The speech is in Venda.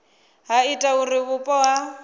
ha ita uri vhupo ha